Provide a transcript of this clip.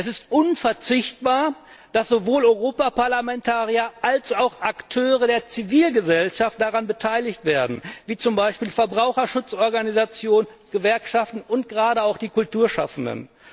Es ist unverzichtbar, dass sowohl Europaparlamentarier als auch Akteure der Zivilgesellschaft daran beteiligt werden, wie zum Beispiel Verbraucherschutzorganisationen, Gewerkschaften und gerade auch die Kulturschaffenden.